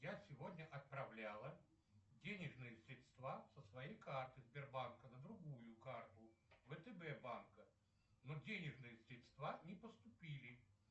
я сегодня отправляла денежные средства со своей карты сбербанка на другую карту втб банка но денежные средства не поступили